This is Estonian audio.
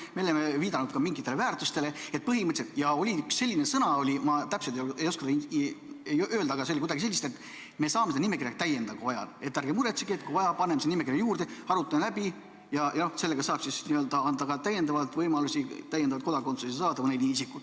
Me oleme viidanud ka mingitele väärtustele ja oli üks selline sõna, ma täpselt ei oska seda öelda, aga see oli kuidagi selliselt, et me saame seda nimekirja ka täiendada, kui vaja, et ärge muretsege, kui vaja, paneme sinna nimekirja juurde, arutame läbi ja no sellega saab siis anda ka täiendavalt võimalust mõnel isikul kodakondsust saada.